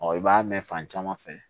i b'a mɛn fan caman fɛ